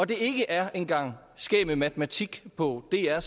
det ikke er en gang skæg med matematik på dr